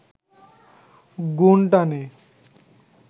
গুণ টানে